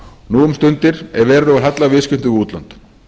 nú um stundir er verulegur halli á viðskiptum við útlönd